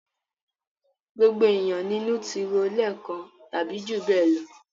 Gbogbo ènìyàn ni inú ti ro lẹ́ẹ̀kan tàbí jù bẹ́ẹ̀ lọ.